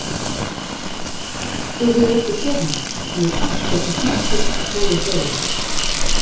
Þú hefur ekki séð hana, en hún er asskoti snotur, skal ég segja þér.